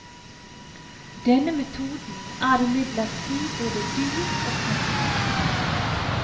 Denne metoden er imidlertid både dyr og tungvint.